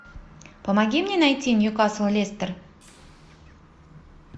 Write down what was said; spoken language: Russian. помоги мне найти ньюкасл лестер